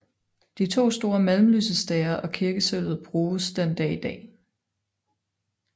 De to store malm lysestager og kirkesølvet bruges den dag i dag